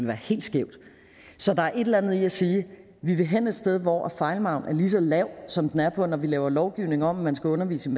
være helt skævt så der er et eller andet i at sige vi vil hen et sted hvor fejlmarginen er lige så lav som den er når vi laver lovgivning om at man skal undervise